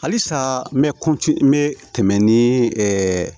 Halisa n bɛ n bɛ tɛmɛ ni ɛ